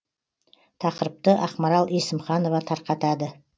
тақырыпты ақмарал есімханова тарқатады